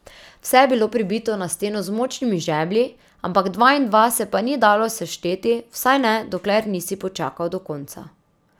Vse je bilo pribito na steno z močnimi žeblji, ampak dva in dva se pa ni dalo sešteti, vsaj ne, dokler nisi počakal do konca.